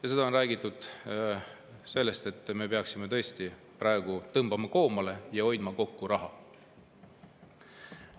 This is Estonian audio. Ja seda on räägitud sellest seisukohast, et me peaksime praegu raha kokku hoidma, koomale tõmbama.